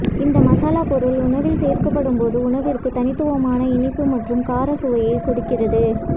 இந்த மசாலா பொருள் உணவில் சேர்க்கப்படும்போது உணவிற்கு தனித்துவமான இனிப்பு மற்றும் கார சுவையை கொடுக்கிறது